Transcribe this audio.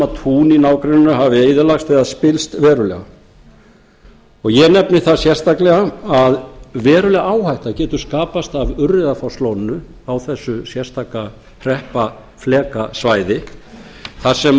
að tún í nágrenni árinnar hafi eyðilagst eða spillst verulega ég nefni það sérstaklega að verulega áhætta getur skapast af urriðafosslóni á þessu sérstaka hreppaflekasvæði þar